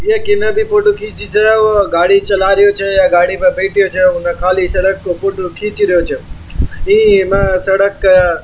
भी फोटो खींची से और गाड़ी चलारियो छे और गाड़ी में बैठे खाली सड़क केा फोटो खींच रैयो छे ईम सड़क के --